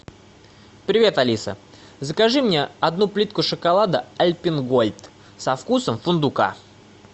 привет алиса закажи мне одну плитку шоколада альпенгольд со вкусом фундука